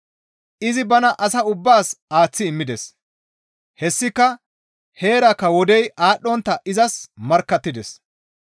Izi bana asa ubbaas aaththi immides; hessika heerakka wodey aadhdhontta izas markkattides.